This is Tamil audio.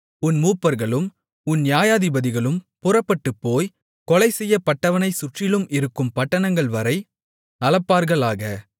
உன் மூப்பர்களும் உன் நியாயாதிபதிகளும் புறப்பட்டுப்போய் கொலை செய்யப் பட்டவனைச் சுற்றிலும் இருக்கும் பட்டணங்கள்வரை அளப்பார்களாக